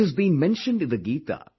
It has been mentioned in the Geeta